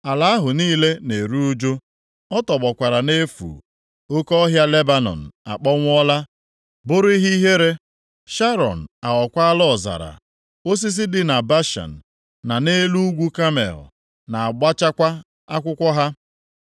Ala ahụ niile na-eru ụjụ. Ọ tọgbọkwara nʼefu. Oke ọhịa Lebanọn akpọnwụọla bụrụ ihe ihere. Sharọn aghọkwaala ọzara; osisi dị na Bashan na nʼelu ugwu Kamel na-agbụchakwa akwụkwọ ha.